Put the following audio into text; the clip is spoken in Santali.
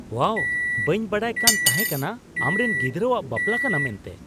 ᱳᱣᱟᱣ ! ᱵᱟᱹᱧ ᱵᱟᱰᱟᱭ ᱠᱟᱱ ᱛᱟᱦᱮᱸ ᱠᱟᱱᱟ ᱟᱢᱨᱮᱱ ᱜᱤᱫᱽᱨᱟᱹᱣᱟᱜ ᱵᱟᱯᱞᱟ ᱠᱟᱱᱟ ᱢᱮᱱᱛᱮ !